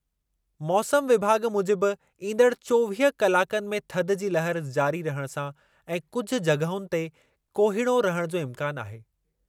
मौसमु विभाॻ मूजिबि ईंदड़ चोवीह कलाकनि में थधि जी लहर जारी रहण सां ऐं कुझु जॻहुनि ते कोहीड़ो रहण जो इम्कानु आहे।